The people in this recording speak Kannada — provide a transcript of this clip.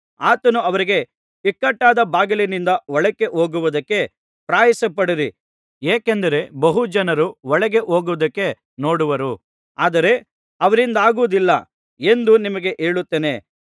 ಆತನು ಅವರಿಗೆ ಇಕ್ಕಟ್ಟಾದ ಬಾಗಿಲಿನಿಂದ ಒಳಗೆ ಹೋಗುವುದಕ್ಕೆ ಪ್ರಯಾಸಪಡಿರಿ ಏಕೆಂದರೆ ಬಹು ಜನರು ಒಳಗೆ ಹೋಗುವುದಕ್ಕೆ ನೋಡುವರು ಆದರೆ ಅವರಿಂದಾಗುವುದಿಲ್ಲ ಎಂದು ನಿಮಗೆ ಹೇಳುತ್ತೇನೆ